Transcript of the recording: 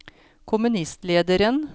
kommunistlederen